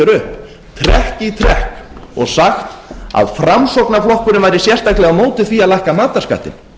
trekk í trekk og sagt að framsóknarflokkurinn væri sérstaklega á móti því að lækka matarskattinn